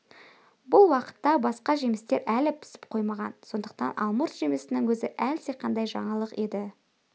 бұл уақытта басқа жемістер әлі пісіп қоймаған сондықтан алмұрт жемісінің өзі әлдеқандай жаңалық еді